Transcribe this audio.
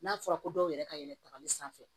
N'a fɔra ko dɔw yɛrɛ ka yɛlɛ tagali sanfɛ